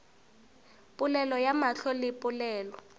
polelo ya mahlo le polelo